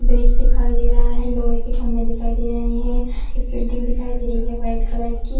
Bridge दिखाई दे रहा है लोहे के खम्भे दिखाई दे रहे हैं एक बिल्डिंग दिखाई दे रही है वाइट कलर की।